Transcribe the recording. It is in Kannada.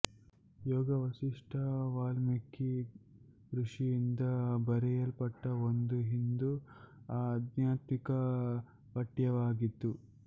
ಯೋಗ ವಾಸಿಷ್ಠ ವಾಲ್ಮೀಕಿ ಋಷಿಯಿಂದ ಬರೆಯಲ್ಪಟ್ಟ ಒಂದು ಹಿಂದೂ ಆಧ್ಯಾತ್ಮಿಕ ಪಠ್ಯವಾಗಿತ್ತು